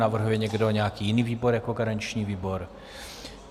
Navrhuje někdo nějaký jiný výbor jako garanční výbor?